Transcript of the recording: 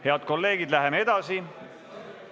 Head kolleegid, läheme edasi!